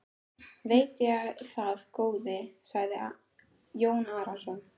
Veit ég það góði, sagði Jón Arason.